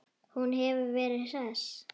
Hún hefur verið hress?